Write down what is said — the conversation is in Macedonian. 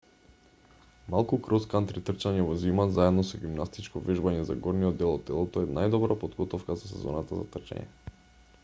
малку крос-кантри трчање во зима заедно со гимнастичко вежбање за горниот дел од телото е најдобра подготовка за сезоната за трчање